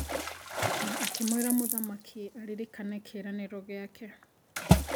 Na akĩmwĩra mũthamaki aririkane kĩĩranĩrũ gĩake.